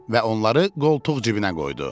Və onları qoltuq cibinə qoydu.